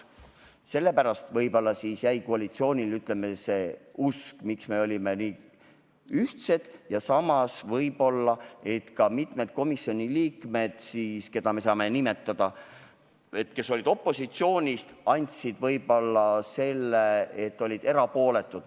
Sellepärast võib-olla jäi koalitsioonile, ütleme, see usk, miks me olime nii ühtsed ja samas võib-olla, et ka mitmed komisjoniliikmed, kes olid opositsioonis, jäid erapooletuks.